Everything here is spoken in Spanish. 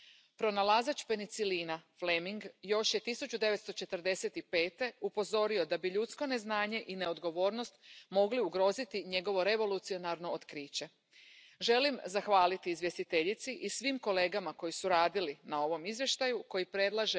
planes nacionales con presupuesto, con objetivos y con seguimiento concreto uso racional de los antibióticos, con el seguimiento por parte de especialistas involucrados y que monitoricen este uso adecuado, un uso racional, humano y animal.